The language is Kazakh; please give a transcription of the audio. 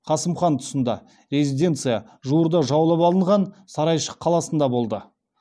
қасым хан тұсында резиденция жуырда жаулап алынған сарайшық қаласында болды